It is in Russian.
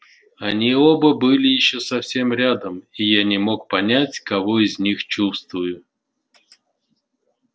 они оба были ещё совсем рядом и я не мог понять кого из них чувствую